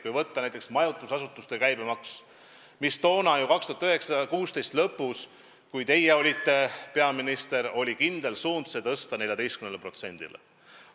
Kui võtta näiteks majutusasutuste käibemaks, siis aasta 2016 lõpus, kui teie olite peaminister, oli kindel suund see tõsta 14%-ni.